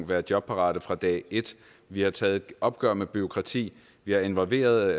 være jobparate fra dag et vi har taget et opgør med bureaukratiet vi har involveret